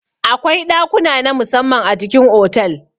Akwai ɗakuna namu samman a cikin otal.